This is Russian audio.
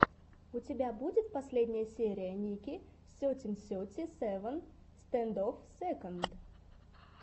у тебя будет последняя серия ники сетин сети севен стэндофф сэконд